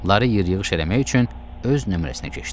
Lare yır-yığış eləmək üçün öz nömrəsinə keçdi.